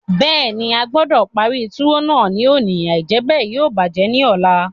Bẹ́ẹ̀ni, a gbọdọ̀ parí túwó náà ní òní, àìjẹ́bẹ̀ yóò bàjẹ́ ní ọ̀la.